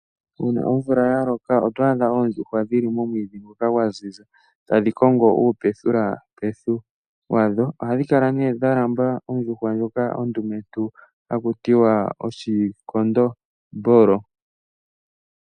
Shampa wa adha omvula ya loka, oto adha oondjuhwa dhili momwiidhi ngoka gwa ziza tadhi kongo iipethipethi wadho. Ohadhi kala mee dha lamba ondjuhwa ndjoka yekondombolo.